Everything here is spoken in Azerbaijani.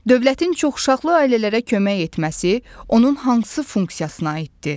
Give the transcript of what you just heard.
Dövlətin çoxuşaqlı ailələrə kömək etməsi onun hansı funksiyasına aiddir?